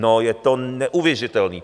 No je to neuvěřitelný.